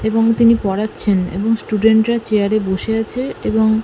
এবং তিনি পড়াচ্ছেন এবং স্টুডেন্ট রা চেয়ার এ বসে আছে এবং--